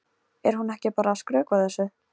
Er hún ekki bara að skrökva þessu?